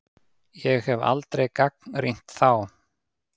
Ég hef aldrei gagnrýnt þá.